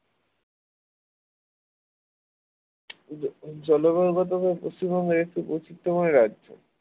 জলবায়ুগত ভাবে পশ্চিমবঙ্গ একটি বৈচিত্র্যময় রাজ্য।